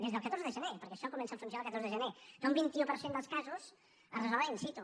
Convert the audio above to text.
des del catorze de gener perquè això comença a funcionar el catorze de gener que un vint un per cent dels casos es resolen in situ